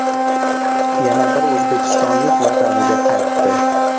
Yana bir o‘zbekistonlik vataniga qaytdi.